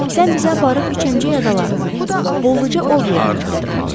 Sən bizə aparıb üç əmcək adalarına, bolluca ov yerinə çatdırmalısan.